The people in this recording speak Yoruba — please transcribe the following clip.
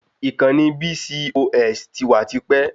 Ìkànnì BCOS ti wà tipẹ́